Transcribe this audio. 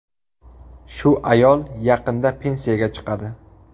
Shu ayol yaqinda pensiyaga chiqadi.